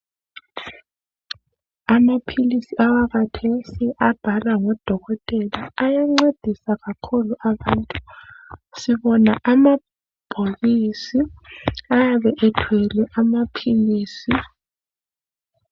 Amaphilisi awakathesi abhalwa ngodokotela ayancedisa kakhulu abantu. Sibona amabhokisi ayabe ethwele amaphilisi.